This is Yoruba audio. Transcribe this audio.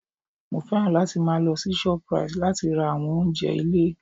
Mo fẹ́ràn láti máa lọ sí Shoprite láti ra àwọn oúnjẹ ilé